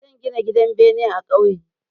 Zan gina gidan bene a ƙauye.